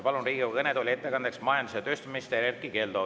Palun Riigikogu kõnetooli ettekandeks majandus- ja tööstusminister Erkki Keldo.